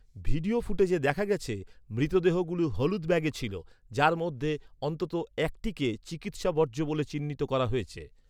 Video ফুটেজে দেখা গেছে মৃতদেহগুলো হলুদ ব্যাগে ছিল, যার মধ্যে অন্তত একটিকে "চিকিৎসা বর্জ্য" বলে চিহ্নিত করা হয়েছে।